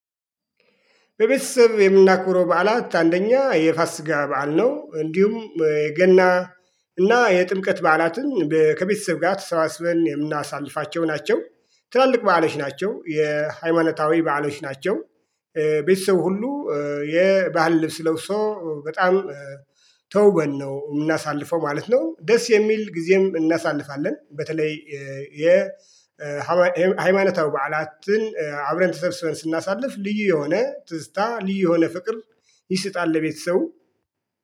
በቤተሰብ የምናከብረው በዓላት አንደኛ የፋስጋ በዓል ነው እንዲሁም የገና እና የጥምቀት በዓላትን ከቤተሰብ ጋር ተሰባስበን የምናሳልፋቸው ናቸው። ትላልቅ በዓሎች ናቸው የሃይማኖታዊ በዓሎች ናቸው። ቤተሰብ ሁሉ። የባህል ልብስ ለብሶ በጣም ተውበን ነው የምናሳልፈው ማለት ነው። ደስ የሚል ጊዜም እናሳልፋለን። በተለይ የሃይማኖታዊ በዓላችን አብረን ተሰብስበን ስናሳልፍ ልዩ የሆነ ትዝታ ልዩ የሆነ ፍቅር ይሰጣል። ለቤተሰቡ